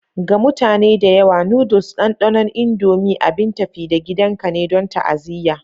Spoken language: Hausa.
Ga mutane da yawa, noodles ɗanɗanon Indomie abin tafi-da-gidanka ne don ta'aziyya.